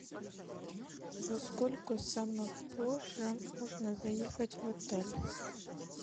во сколько самое позже можно заехать в отель